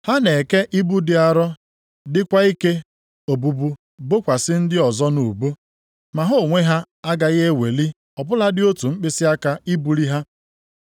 Ha na-eke ibu dị arọ dịkwa ike obubu bokwasị ndị ọzọ nʼubu, ma ha onwe ha agaghị eweli ọ bụladị otu mkpịsịaka i buli ha.